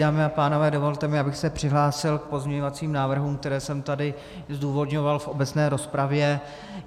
Dámy a pánové, dovolte mi, abych se přihlásil k pozměňovacím návrhům, které jsem tady zdůvodňoval v obecné rozpravě.